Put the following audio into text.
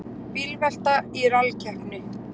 Bílvelta í rallkeppni